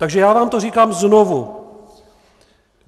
Takže já vám to říkám znovu.